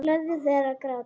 Leyfðu þér að gráta.